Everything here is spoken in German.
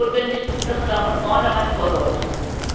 Und so ist es notwendig, dass man da von vornherein Vorsorge trifft.